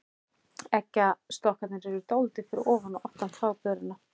Eggjastokkarnir eru dálítið fyrir ofan og aftan þvagblöðruna.